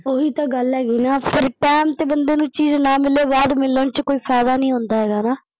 ਉਹੀ ਤਾਂ ਗੱਲ ਹੈਗੀ ਨਾ ਪਰ ਪੈਣ ਤੇ ਬੰਦੇ ਨੂੰ ਚੀਜ਼ ਨਾ ਮਿਲੇ ਪਰ ਬਾਦ ਮਿਲਣ ਚ ਕੋਈ ਫੈਦਾ ਨੀ ਹੁੰਦਾ ਗਾ ਨਾ।